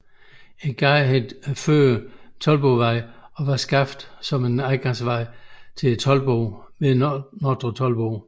Gaden hed tidligere Toldbodvej og var skabt som en adgangsvej til toldboden ved Nordre Toldbod